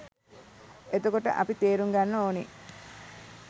එතකොට අපි තේරුම් ගන්න ඕනෙ